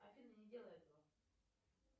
афина не делай этого